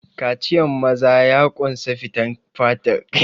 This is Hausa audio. Kaciyan maza ya ƙunsa fitan fatar kai daga azzakari.